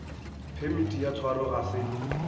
phemiti ya tshwaro ga se